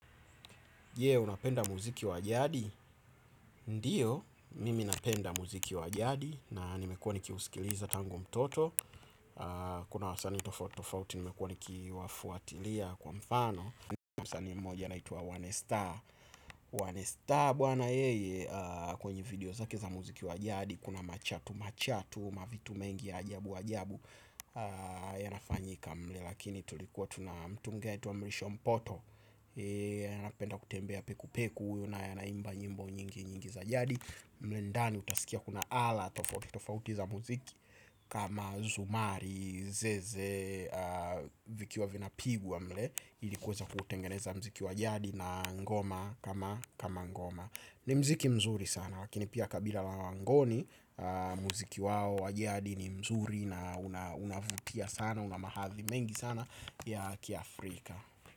Je, unapenda muziki wajadi? Ndio mimi napenda muziki wajadi na nimekuwa nikiusikiliza tango mtoto kuna wasani tofauti tofauti nimekuwa nikiwafuatilia kwa mfano msanii mmoja anaitwa one star, one star bwana yeye kwenye video zake za muziki wajadi kuna machatu machatu mavitu mengi ajabu ajabu yanafanyika mle lakini tulikuwa tuna mtumgea etuwa mlisho mpoto. Anapenda kutembea peku peku. Una ya naimba nyimbo nyingi nyingi za jadi mwendani utasikia kuna ala tofauti za muziki. Kama zumari, zeze. Vikiwa vina pigwa mle ilikuweza kutengeneza mziki wa jadi na ngoma kama ngoma. Ni mziki mzuri sana. Wakinipia kabila la wangoni. Mziki wao wa jadi ni mzuri. Na unavutia sana. Una mahathi mengi sana. Ya kia Afrika.